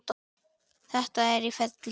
Þetta er í ferli.